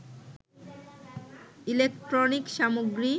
electronics সামগ্রী,